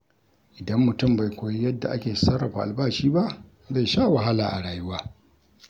Idan mutum bai koyi yadda ake sarrafa albashi ba, zai sha wahala a rayuwa.